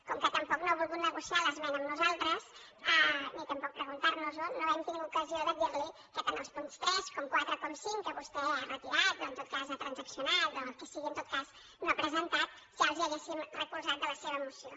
com que tampoc no ha volgut negociar l’esmena amb nosaltres ni tampoc preguntar nos ho no hem tingut ocasió de dir li que tant els punts tres com quatre com cinc que vostè ha retirat o en tot cas ha transaccionat o el que sigui en tot cas no els ha presentat ja els hi haguéssim recolzat de la seva moció